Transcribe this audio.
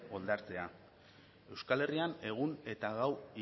euskal herrian egun eta gau